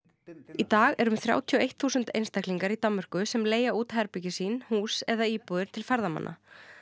í dag eru um þrjátíu og eitt þúsund einstaklingar í Danmörku sem leigja út herbergi sín hús eða íbúðir til ferðamanna